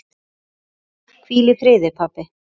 Hvíl í friði, pabbi.